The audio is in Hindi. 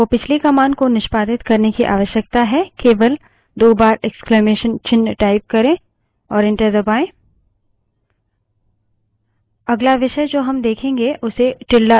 यदि आपको पिछली command को निष्पादित करने की आवश्यकता है केवल दो बार इक्स्लामेसन चिन्ह type करें और enter दबायें